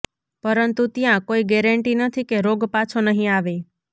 પરંતુ ત્યાં કોઈ ગેરેંટી નથી કે રોગ પાછો નહીં આવે